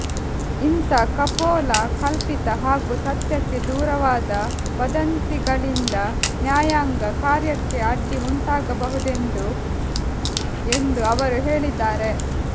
ಇಂಥಾ ಕಪೋಲ ಕಲ್ಪಿತ ಹಾಗೂ ಸತ್ಯಕ್ಕೆ ದೂರವಾದ ವದಂತಿಗಳಿಂದ ನ್ಯಾಯಾಂಗ ಕಾರ್ಯಕ್ಕೆ ಅಡ್ಡಿ ಉಂಟಾಗಬಹುದೆಂದು ಎಂದು ಅವರು ಹೇಳಿದ್ದಾರೆ